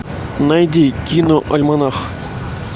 найди киноальманах